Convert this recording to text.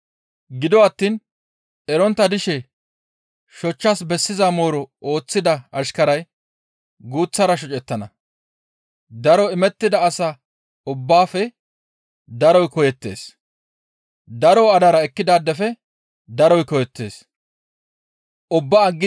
Gido attiin erontta dishe shochchas bessiza mooro ooththida ashkaray guuththara shocettana; daro imettida asa ubbaafe daroy koyettees; daro hadara ekkidaadefe daroy koyettees.